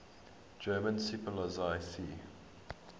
german seepolizei sea